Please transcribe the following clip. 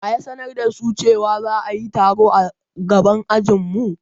Wa ya sanar da su cewa za'ayi taro a gaban ajin mu?